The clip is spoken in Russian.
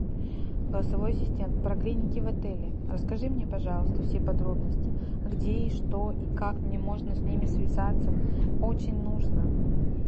голосовой ассистент про клиники в отеле расскажи мне пожалуйста все подробности где и что и как мне можно с ними связаться очень нужно